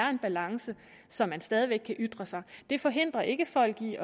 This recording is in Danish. er en balance så man stadig væk kan ytre sig det forhindrer ikke folk i